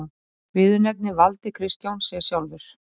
Viðurnefnið valdi Kristján sér sjálfur.